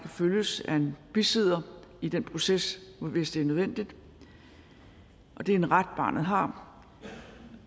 følges af en bisidder i den proces hvis det er nødvendigt det er en ret barnet har